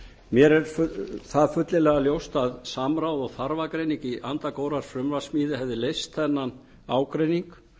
er það fyllilega ljóst að samráð og þarfagreining í anda góðrar frumvarpssmíði hefði leyst þennan ágreining